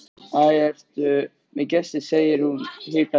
Æ, ertu með gesti, segir hún hikandi.